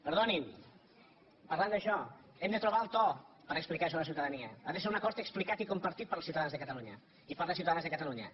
perdonin parlant d’això hem de trobar el to per explicar això a la ciutadania ha de ser un acord explicat i compartit pels ciutadans de catalunya i per les ciutadanes de catalunya